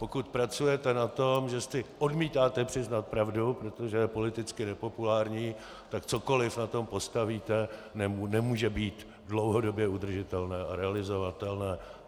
Pokud pracujete na tom, že si odmítáte přiznat pravdu, protože je politicky nepopulární, tak cokoliv na tom postavíte, nemůže být dlouhodobě udržitelné a realizovatelné.